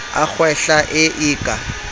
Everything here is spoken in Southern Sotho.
a kgwehla e e ka